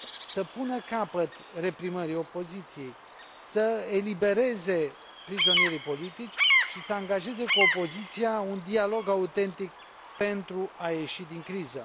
să pună capăt reprimării opoziției, să elibereze prizonierii politici și să angajeze cu opoziția un dialog autentic pentru a ieși din criză.